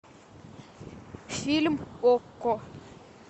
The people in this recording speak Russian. фильм окко